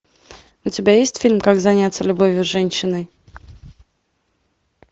у тебя есть фильм как заняться любовью с женщиной